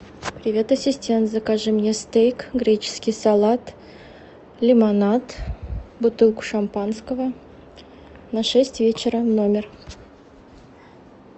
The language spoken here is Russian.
привет ассистент закажи мне стейк греческий салат лимонад бутылку шампанского на шесть вечера в номер